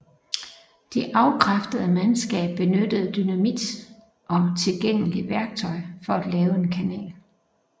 Det afkræftede mandskab benyttede dynamit og tilgængeligt værktøj for at lave en kanal